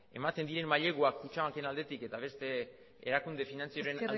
ematen diren maileguak kutxabanken aldetik eta beste erakunde finantzieroen